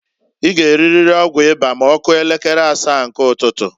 I g' eririri ọgwụ ịba ma ọkụo elekere asaa nke ụtụtụǃ